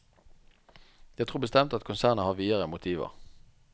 Jeg tror bestemt at konsernet har videre motiver.